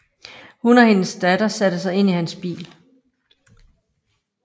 Hun og hendes datter satte sig ind i hans bil